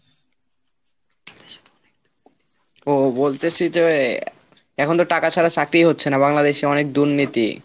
ও বলতেসি যে এখন তো টাকা ছাড়া চাকরি হচ্ছে না বাংলাদেশে অনেক দুর্নীতি।